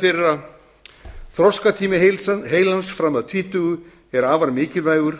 þeirra þroskatími heilans fram að tvítugu er afar mikilvægur